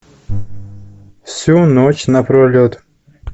всю ночь напролет